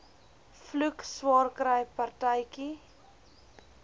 vloek swaarkry partytjie